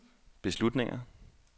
beslutninger